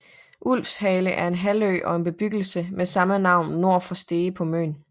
Ulvshale er en halvø og en bebyggelse med samme navn nord for Stege på Møn